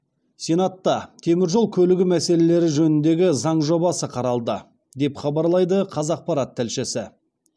сенатта теміржол көлігі мәселелері жөніндегі заң жобасы қаралды деп хабарлайды қазақпарат тілшісі